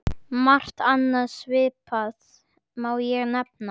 Margt annað svipað má nefna.